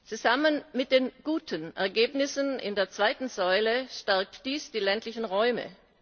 Zusammen mit den guten Ergebnissen in der zweiten Säule stärkt dies die ländlichen Räume.